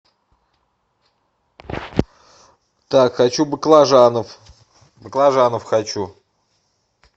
так хочу баклажанов баклажанов хочу